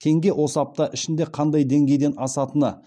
теңге осы апта ішінде қандай деңгейден асатыны